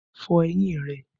Fọ eyín rẹ!